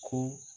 Ko